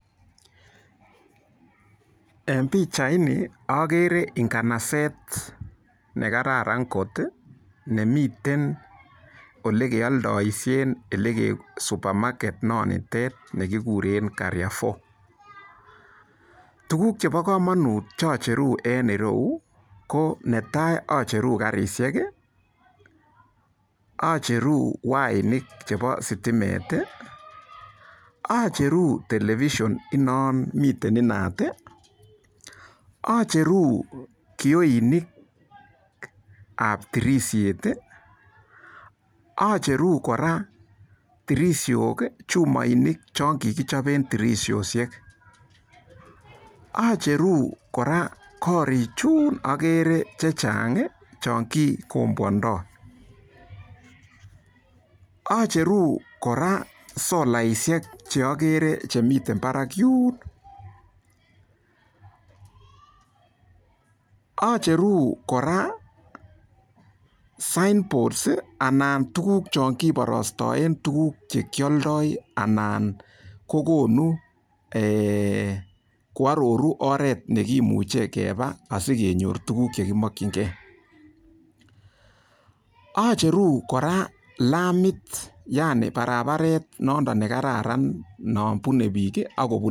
En pichaini agere nganaset nekararan kot nemiten olekeoldoishe ele supermarket nonitet nekigure karifour. Tukuk chebo komonut cho cheru eng ireyu, ko netai acheru karishek, acheru wainik chebo sitimet, acheru television ino mitei inat, acheru kioinikab tirishet, acheru kora tirishok, chumoinik chon kikichoben tirishoshek, acheru kora koorichun agere chechang cho kikomboandoi .Acheru kora solaishek cheagere chemiten barak yun. Acheru kora sign post anan ko tukuk chon kiporostoen tukuk chekioldoi anan kokonu, koaroru oret nekimuchei kepa asikenyor tukuk chekimokchingei. Acheru kora lamit yani barabaret nono nekararan nopunei biik ako punei.